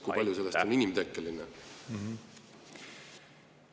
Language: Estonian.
… kui palju sellest on inimtekkeline?